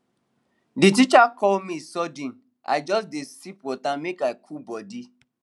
the teacher call me sudden i just dey sip water make i cool body